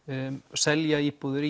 selja íbúðir